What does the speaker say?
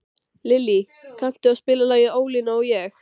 Lillý, kanntu að spila lagið „Ólína og ég“?